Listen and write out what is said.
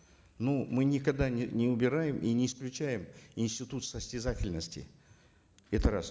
ну мы никогда не убираем и не исключаем институт состязательности это раз